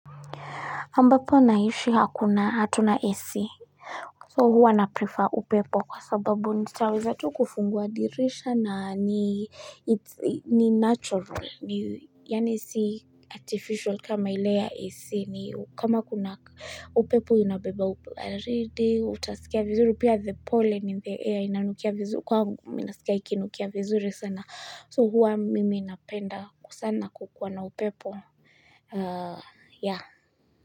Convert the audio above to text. Ambapo naishi hakunaa hatuna AC. So huwa na prefer upepo kwa sababu nitaweza tu kufungua dirisha na nii it ni natural. Ni yani si artificial kama ile ya AC ni kama kuna uh upepo inabeba ubaridi, utasikia vinzuri, pia the pollen in the air inanukia vinzuri, kwagu mi nasikia ikinukia vinzuri sana. So huwa mimi napenda kusana kukiwa na upepo aaa ya.